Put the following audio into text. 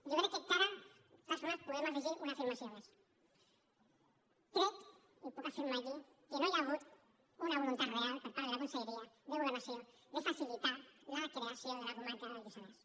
jo crec que encara de totes formes podem afegir una afirmació més crec i ho puc afirmar aquí que no hi ha hagut una voluntat real per part de la conselleria de governació de facilitar la creació de la comarca del lluçanès